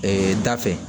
da fɛ